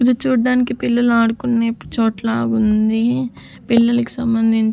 ఇది చూడ్డానికి పిల్లలు ఆడుకునే చోట్ల ఉంది పిల్లలకు సంబంధిం--